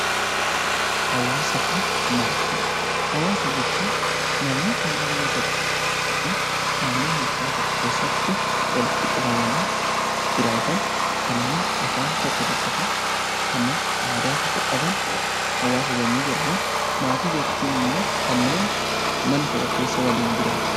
Hawaasa jechuun namoota naannoo tokko yookiin naannoo murtaa'aa keessatti walitti qabamanii jiraatan kanneen afaan tokko dubbatan kanneen aadaa tokko qaban hawaasa yommuu jedhaman maatii jechuun immoo kanneen mana tokko keessa waliin jiraatan jechuudha.